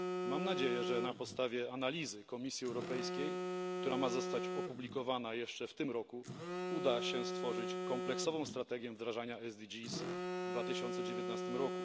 Mam nadzieję, że na podstawie analizy Komisji Europejskiej, która ma zostać opublikowana jeszcze w tym roku, uda się stworzyć kompleksową strategię wdrażania celów zrównoważonego rozwoju w 2019 r.